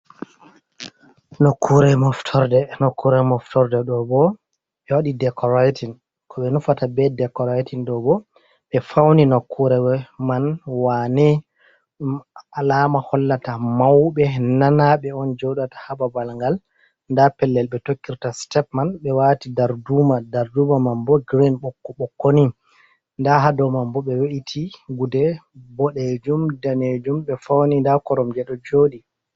Nokkure moftorde nokure moftorde ɗo bo ɓe waɗi decoratin ko ɓe nufata be decoratin ɗo ɓo ɓe fauni nokkure man wane ɗum alama hollata mauɓe nanaɓe on joɗata ha babal ngal nda pellel ɓe tokkirta step man be wati darduma, darduma man bo grin, ɓokko ɓokko ni nda ha dou man bo ɓe we’iti gude boɗejum, danejum ɓe fauni nda korom je ɗo joɗi.